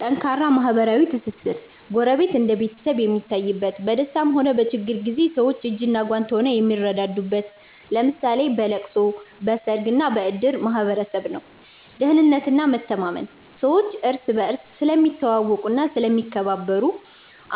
ጠንካራ ማህበራዊ ትስስር፦ ጎረቤት እንደ ቤተሰብ የሚታይበት፣ በደስታም ሆነ በችግር ጊዜ ሰዎች እጅና ጓንት ሆነው የሚረዳዱበት (ለምሳሌ በለቅሶ፣ በሰርግና በእድር) ማህበረሰብ ነው። ደህንነትና መተማመን፦ ሰዎች እርስ በርስ ስለሚተዋወቁና ስለሚከባበሩ፣